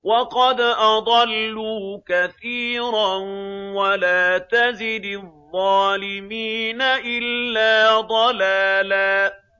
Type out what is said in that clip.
وَقَدْ أَضَلُّوا كَثِيرًا ۖ وَلَا تَزِدِ الظَّالِمِينَ إِلَّا ضَلَالًا